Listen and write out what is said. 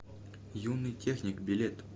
юный техник билет